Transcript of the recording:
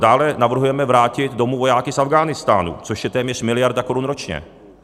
Dále navrhujeme vrátit domů vojáky z Afghánistánu, což je téměř miliarda korun ročně.